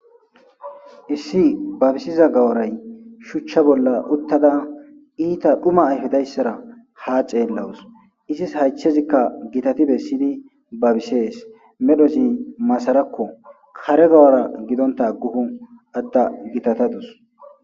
Issi babisiza gaworay shuchcha bolla uttada iita dhuma ayhudayssara haa ceellawus izis haychezikka gitati bessyidi babisees medhozi masarakko kare gawora gidonta agguhu atda gitatadus.